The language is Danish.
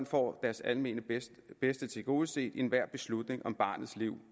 får deres almene bedste bedste tilgodeset ved enhver beslutning om barnets liv